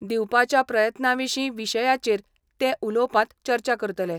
दिवपाच्या प्रयत्ना विशीं विशयाचेर ते उलोवपांत चर्चा करतले.